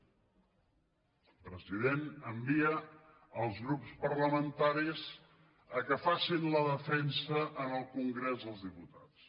el president envia els grups parlamentaris perquè facin la defensa en el congrés dels diputats